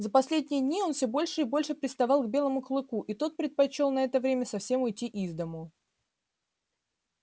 за последние дни он всё больше и больше приставал к белому клыку и тот предпочёл на это время совсем уйти из дому